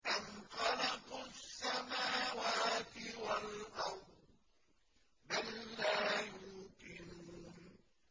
أَمْ خَلَقُوا السَّمَاوَاتِ وَالْأَرْضَ ۚ بَل لَّا يُوقِنُونَ